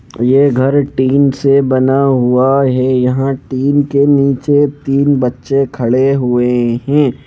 यह घर टीन से बना हुआ है यहां टीन के नीचे तीन बच्चे खड़े हुए हैं ।